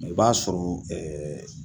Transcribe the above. Mɛ i b'a sɔrɔ